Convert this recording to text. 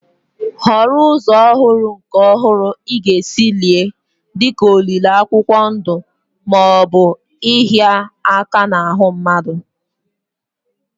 Họrọ ụzọ ọhụrụ na nke ọhụrụ ị ga-esi lie, dị ka olili akwụkwọ ndụ akwụkwọ ndụ ma ọ bụ ịhịa aka n'ahụ mmadụ